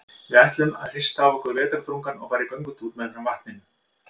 Við ætluðum að hrista af okkur vetrardrungann og fara í göngutúr meðfram vatninu.